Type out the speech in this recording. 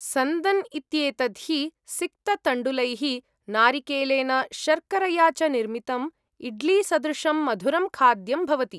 सन्दन् इत्येतत् हि सिक्ततण्डुलैः, नारिकेलेन, शर्करया च निर्मितम् इड्लीसदृशं मधुरं खाद्यं भवति।